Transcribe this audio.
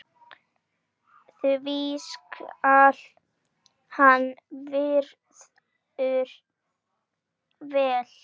því skal hann virður vel.